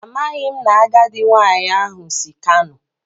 Amaghim na agadi nwanyi ahu si kano